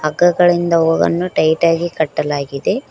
ಹಗ್ಗಗಳಿಂದ ಅವುಗಳನ್ನು ಟೈಟಾ ಆಗಿ ಕಟ್ಟಲಾಗಿದೆ.